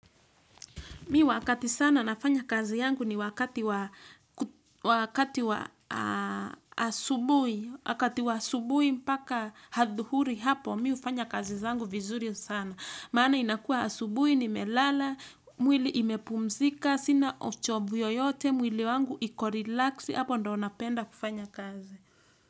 Mimi wakati sana nafanya kazi yangu ni wakati wa, wakati wa, asubuhi, wakati wa asubuhi mpaka adhuhuri hapo, mimi hufanya kazi zangu vizuri sana maana inakua asubuhi nimelala, mwili imepumzika, sina uchovu yeyote, mwili wangu iko relaxed, hapo ndo napenda kufanya kazi.